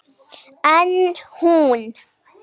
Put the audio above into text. En hún.